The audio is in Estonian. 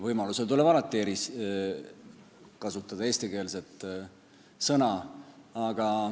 Võimaluse korral tuleb alati kasutada eestikeelset sõna.